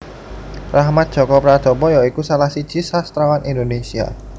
Rachmat Djoko Pradopo ya iku salah siji sastrawan Indonesia